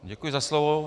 Děkuji za slovo.